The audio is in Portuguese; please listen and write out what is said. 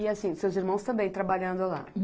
E assim, seus irmãos também trabalhando lá?